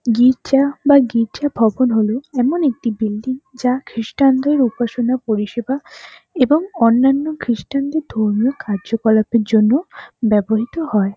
গির্জা বা গির্জা ভবন হল এমন একটি বিল্ডিং যা খ্রিস্টান -দের উপাসানা পরিষেবা এবং অন্যান্য খ্রিস্টান -দের ধর্মীয় কার্যকলাপ এর জন্য ব্যবহৃত হয়।